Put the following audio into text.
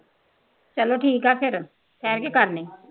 ਚੱਲੋ ਠੀਕ ਆ ਫੇਰ ਠਹਿਰ ਕੇ ਕਰਦੇ ਹਾਂ